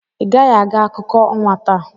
Ị gaghị aga akụkọ ọnwa taa.